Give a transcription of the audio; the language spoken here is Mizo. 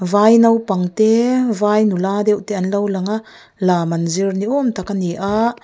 vai naupang te vai nula deuh te an lo lang a lam an zir ni awm tak a ni a.